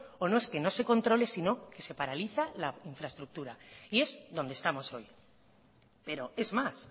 o es que no se controle sino que se paraliza la infraestructura y es donde estamos hoy pero es más